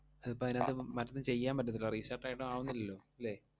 ഇതിപ്പം അതിനാത്ത് മറ്റൊന്നും ചെയ്യാൻ പറ്റത്തില്ല, restart ആയിട്ടും ആവുന്നില്ലല്ലോ ല്ലേ?